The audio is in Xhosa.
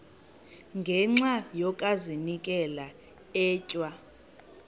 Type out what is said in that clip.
ngenxa yokazinikela etywa